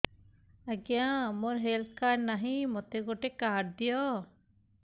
ଆଜ୍ଞା ମୋର health card ନାହିଁ ମୋତେ ଗୋଟେ କାର୍ଡ ଦିଅ